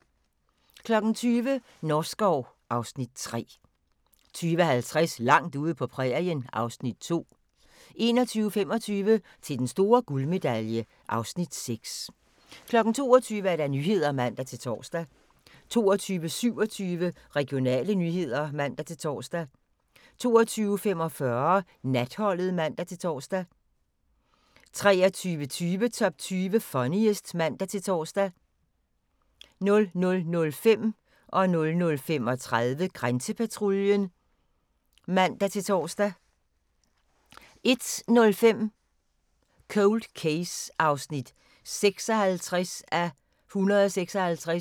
20:00: Norskov (Afs. 3) 20:50: Langt ude på prærien (Afs. 2) 21:25: Til den store guldmedalje (Afs. 6) 22:00: Nyhederne (man-tor) 22:27: Regionale nyheder (man-tor) 22:45: Natholdet (man-tor) 23:20: Top 20 Funniest (man-tor) 00:05: Grænsepatruljen (man-tor) 00:35: Grænsepatruljen (man-tor) 01:05: Cold Case (56:156)